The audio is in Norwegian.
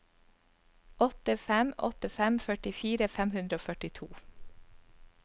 åtte fem åtte fem førtifire fem hundre og førtito